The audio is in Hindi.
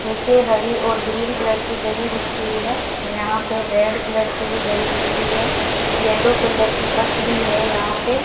नीचे हरी और ग्रीन कलर की दरी बिछी हुई है यहां पे रेड कलर की भी दरी बिछी है येलो कलर की बस भी है यहां पे।